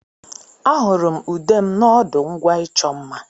Ahụrụ m ude m n'ọdụ ngwa ịchọ mma.